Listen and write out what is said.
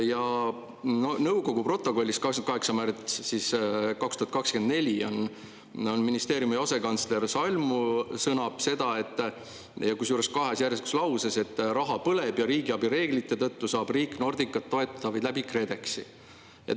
Ja nõukogu 28. märtsi 2024. aasta protokollis ministeeriumi asekantsler Salmu sõnab – kusjuures kahes järjestikuses lauses –, et raha põleb ja riigiabi reeglite tõttu saab riik Nordicat toetada vaid Kredexi kaudu.